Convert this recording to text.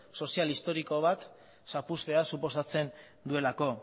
soziohistoriko bat zapuztea suposatzen duelako